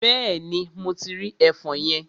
Bẹ́ẹ̀ni, mo ti rí ẹfọn yẹn.